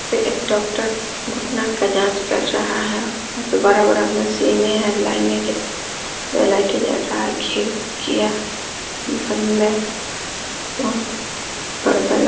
ये एक डॉक्टर घुटने का जाँच कर रहा है। ऊका बड़ा-बड़ा मशीनें हैं। ये लाइटें जल रहा है। खिडकियाँ बंद हैं। पर्दा लग --